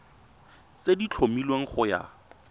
tse di tlhomilweng go ya